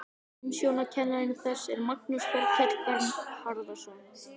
Umsjónarkennari þess er Magnús Þorkell Bernharðsson.